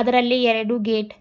ಅದರಲ್ಲಿ ಎರಡು ಗೇಟ್ --